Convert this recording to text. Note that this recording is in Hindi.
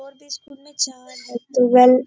स्कूल